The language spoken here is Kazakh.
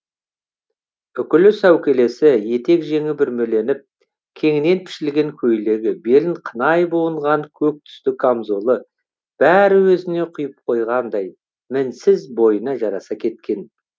үкілі сәукелесі етек жеңі бүрмеленіп кеңінен пішілген көйлегі белін қынай буынған көк түсті камзолы бәрі өзіне құйып қойғандай мінсіз бойына жараса кеткен